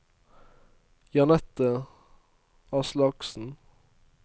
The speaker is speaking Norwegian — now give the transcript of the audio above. Jeanette Aslaksen